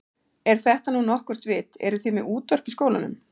Er þetta nú nokkurt vit. eruð þið með útvarp í skólanum?